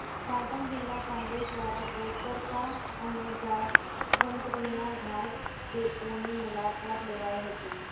પાટણ જિલ્લા કોંગ્રેસ દ્વારા ગોતરકા અને જાવંત્રીનાં ઘાસ ડેપોની મુલાકાત લેવાઇ હતી